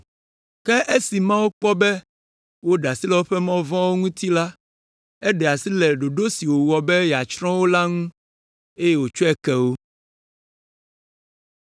Ke esi Mawu kpɔ be woɖe asi le woƒe mɔ vɔ̃wo ŋuti la, eɖe asi le ɖoɖo si wòwɔ be yeatsrɔ̃ wo la ŋu, eye wòtsɔe ke wo.